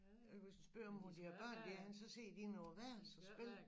Hvis du spørger om hvor deres børn de er henne så sidder de inde på værelsen og spiller